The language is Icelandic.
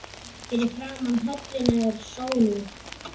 Fyrir framan höllina er sólúr